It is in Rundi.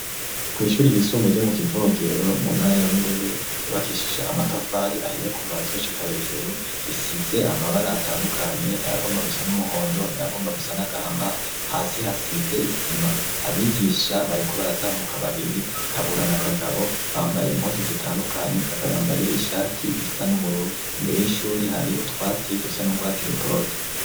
Kw' ishuri ryisumbe ryo mu kivogero mu ntara ya Bururi ryubakishije amatafari ahiye kuva hasi gushika hejuru isize amabara atandukanye ayagomba gusa n'umuhondo n'ayagomba gusa n'agahama hasi hasize isima, abigisha bariko baratambuka babiri kabura na kagabo bambaye impuzu zitandukanye kagabo yambaye ishati isa n'ubururu imbere y'ishure hari utwatsi dusa n'urwatsi rutoto.